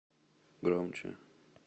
громче